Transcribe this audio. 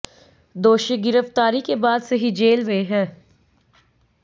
दोषी गिरफ्तारी के बाद से ही जेल में है